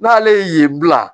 N'ale ye yen bila